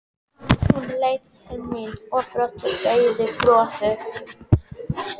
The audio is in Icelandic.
Hún leit til mín og brosti daufu brosi.